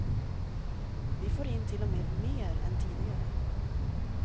Vi får in till och med mer än tidigare.